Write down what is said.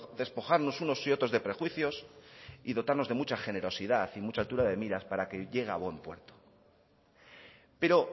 despojarnos unos y otros de perjuicios y dotarnos de mucha generosidad y mucha altura de miras para que llegue a buen puerto pero